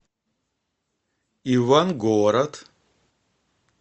ивангород